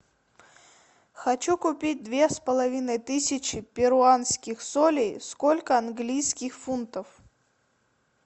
хочу купить две с половиной тысячи перуанских солей сколько английских фунтов